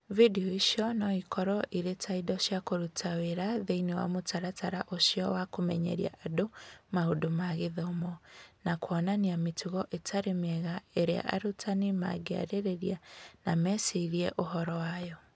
Video icio no ikorũo irĩ ta indo cia kũruta wĩra thĩinĩ wa mũtaratara ũcio wa kũmenyeria andũ maũndũ ma gĩthomo, na kuonania mĩtugo ĩtarĩ mĩega ĩrĩa arutani mangĩarĩrĩria na mecirie ũhoro wayo.